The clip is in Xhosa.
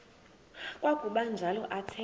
kwakuba njalo athetha